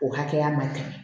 O hakɛya man tɛmɛ